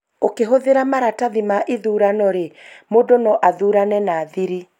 ũkĩhũthira maratathi ma ithurano rĩ, mũndũ no athurane na thiri